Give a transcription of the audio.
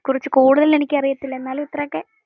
ഇതിനെക്കുറിച്ചു കൂടുതൽ എനിക്ക് അറിയത്തില്ല. എന്നാലും ഇത്രേ ഒക്കെ